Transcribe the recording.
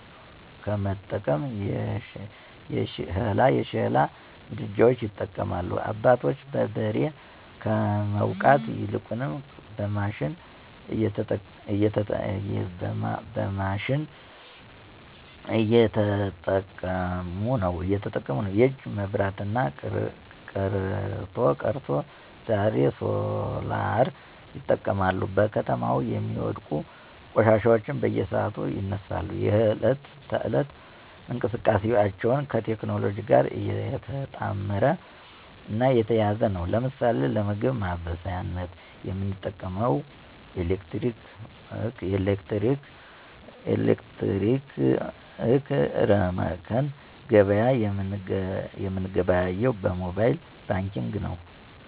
ከመጠቀም የሸሕላ ምድጃዎች ይጠቀማሉ። አባቶች በበሬ ከመዉቃት ይልቁንም በማሽን እየተጠቀሙነዉ። የእጅ መብራት ቀርቶ ዛሬሶላርይጠቀማሉ። በከተማው የሚወድቁ ቆሻሻዎች በየሰዓቱ ይነሳሉ፣ የህለት ተህለት እንቅስቃሴአችን ከቴክኖሎጅእ ጋር የተጣመረ እና የተያያዘ ነዉ። ለምሳሌ ለምግብ ማበሳሳያነት የምንጠቀመዉምኤሌክትረመክነዉ ገበያ የምንገበያየዉ በሞባየል ባንኪግ ነዉ።